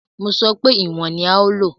Mo sọ wípé ìwọ̀n ní a ó lò.